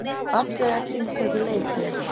Afturelding tekur leikhlé